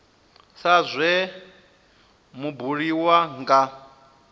sa zwe zwa buliwa nga